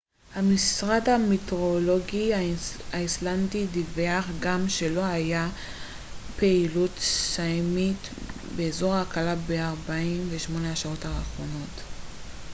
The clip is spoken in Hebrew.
המשרד המטאורולוגי האיסלנדי דיווח גם שלא הייתה פעילות סייסמית באזור הקלה ב-48 השעות האחרונות